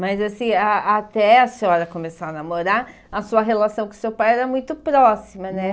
Mas assim, a até a senhora começar a namorar, a sua relação com seu pai era muito próxima, né?